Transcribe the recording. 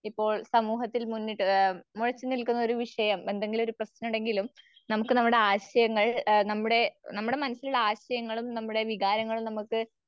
ഇപ്പോൾ സമൂഹത്തിൽ മുന്നിട്ട് ആം മുഴച്ചുനിൽക്കുന്നൊരു വിഷയം എന്തെങ്കിലൊരു പ്രശ്നോണ്ടെങ്കിലും നമുക്ക് നമ്മുടെ ആശയങ്ങൾ നമ്മുടെ മനസ്സിലുള്ള ആശയങ്ങളും,